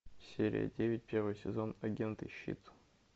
серия девять первый сезон агенты щит